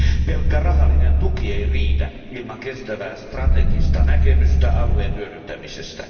Pelkkä rahallinen tuki ei riitä ilman kestävää strategista näkemystä alueen hyödyntämisestä.